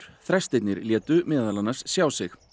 þrestirnir létu meðal annars sjá sig